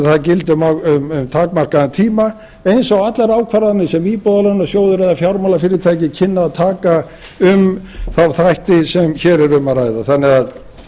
það gildi um takmarkaðan tíma eins og allar ákvarðanir sem íbúðalánasjóður eða fjármálafyrirtæki kynnu að taka um þá þætti sem hér er um að ræða þannig að